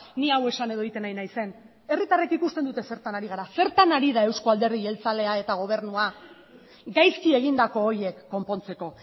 ni hau esan edo egiten ari naizen herritarrek ikusten dute zertan ari garen zertan ari da eusko alderdi jeltzalea eta gobernua gaizki egindako horiek konpontzeko